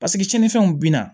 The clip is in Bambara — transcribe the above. Paseke sinifɛnw bina